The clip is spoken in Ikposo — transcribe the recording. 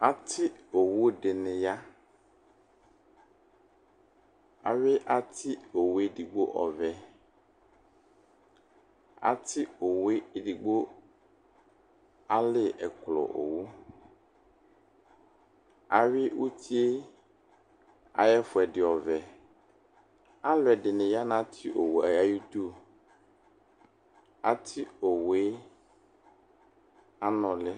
Ati owʋ dini ya awui ati owʋvɛ edigbo ɔvɛ ati owʋ edigbo ali ɛklɔ owʋ ayʋ ʋtie ayʋ ɛfʋedi ɔvɛ alʋ ɛdini yanʋ ati owʋe ayidʋ ati owʋe anʋli